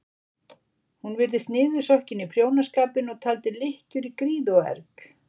Hún virtist niðursokkin í prjónaskapinn og taldi lykkjur í gríð og erg.